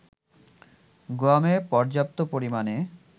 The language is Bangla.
গুয়ামে পর্যাপ্ত পরিমাণে